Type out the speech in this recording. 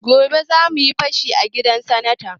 Gobe zamuyi fashi a gidan sanata